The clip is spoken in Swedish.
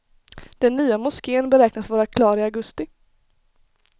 Den nya moskén beräknas vara klar i augusti.